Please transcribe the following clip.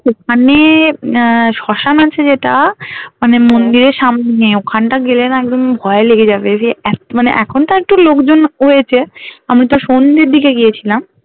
ওখানে উম আহ শ্মশান আছে যেটা মানে মন্দিরের সামনে ওখানটা গেলে না একদম ভয় লেগে যাবে সেই এক মানে এখন তা একটু লোকজন হয়েছে আমি তো সন্ধের দিকে গিয়েছিলাম